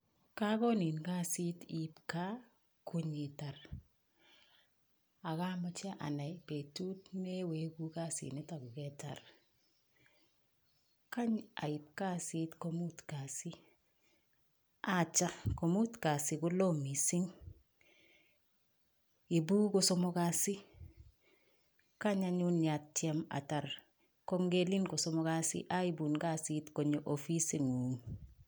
Kakonin kasit iip Kaa ipitar AK kameche Amani petit neiwegunee kasi nitok kosomok kasi aipun kasit konyoo ofisit nguung